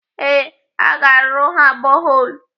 Ee, aga arụrụ ha boholu.